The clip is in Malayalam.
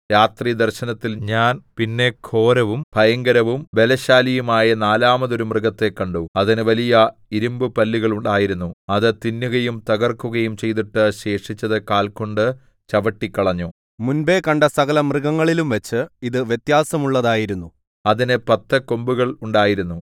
രാത്രിദർശനത്തിൽ ഞാൻ പിന്നെ ഘോരവും ഭയങ്കരവും ബലശാലിയുമായ നാലാമതൊരു മൃഗത്തെ കണ്ടു അതിന് വലിയ ഇരിമ്പുപല്ലുകൾ ഉണ്ടായിരുന്നു അത് തിന്നുകയും തകർക്കുകയും ചെയ്തിട്ട് ശേഷിച്ചത് കാൽ കൊണ്ട് ചവിട്ടിക്കളഞ്ഞു മുമ്പെ കണ്ട സകലമൃഗങ്ങളിലുംവച്ച് ഇത് വ്യത്യാസമുള്ളതായിരുന്നു അതിന് പത്ത് കൊമ്പുകൾ ഉണ്ടായിരുന്നു